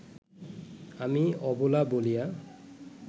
আমি অবলা বলিয়া